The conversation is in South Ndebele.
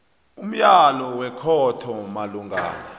umyalo wekhotho malungana